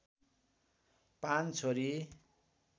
५ छोरी